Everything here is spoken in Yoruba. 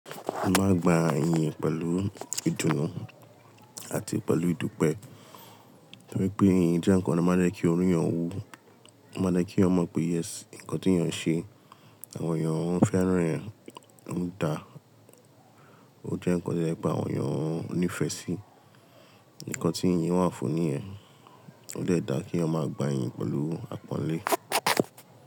O máa gba iyìn pẹ̀lú ìdùnnú àti pẹ̀lú ìdúpẹ́. Bí i pé iyìn jẹ́ nǹkan tí ó máa ń dé kí orú yẹn wú, ó máa dé kí ó mọ̀ pé, yes, nǹkan tí èyàn ń ṣe, àwọn èèyàn fẹ́ràn èyàn ń dà ó jẹ́ nǹkan tí ó jẹ́ pé àwọn èèyàn ń nífẹ̀ẹ́ sí, nǹkan tí iyìn wà á fun ní yẹn, ó dẹ̀ dá kí ẹ̀yàn máa gba iyìn pẹ̀lú àpọ́nlé.